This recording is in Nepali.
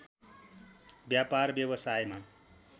व्यापार व्यवसायमा